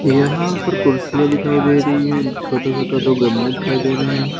यहां पर कुर्सियां दिखाई दे रही है छोटे छोटे दो गमले दिखाई दे रहे हैं।